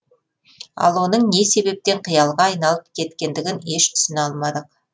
ал оның не себептен қиялға айналып кеткендігін еш түсіне алмадық